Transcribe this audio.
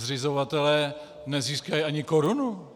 Zřizovatelé nezískají ani korunu.